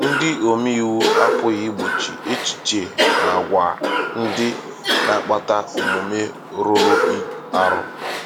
Ndị omeiwu apụghị igbochi echiche na agwa ndị na-akpata omume rụrụ arụ.